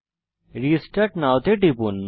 restart now টিপুন